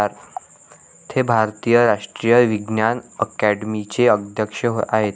ते भारतीय राष्ट्रीय विज्ञान अकॅडमीचे अध्यक्ष आहेत.